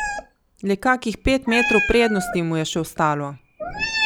Le kakih pet metrov prednosti mu je še ostalo!